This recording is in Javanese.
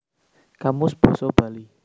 Kamus Basa Bali